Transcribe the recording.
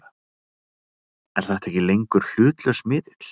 Er þetta ekki lengur hlutlaus miðill?!?!